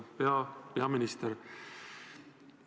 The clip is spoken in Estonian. Auväärt peaminister!